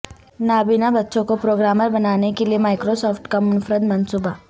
نابینا بچوں کو پروگرامر بنانے کیلئے مائیکرو سافٹ کا منفرد منصوبہ